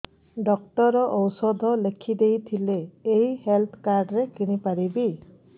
doctor ଔଷଧ ଲେଖିଦେଇଥିଲେ ଏଇ ହେଲ୍ଥ କାର୍ଡ ରେ କିଣିପାରିବି